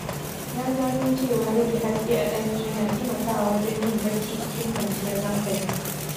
Na gano cewa rage haske a ɗaki yana taimakawa wajen yin bacci cikin kwanciyar hankali.